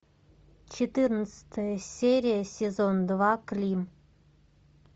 четырнадцатая серия сезон два клим